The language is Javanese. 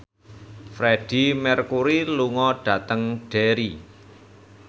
Freedie Mercury lunga dhateng Derry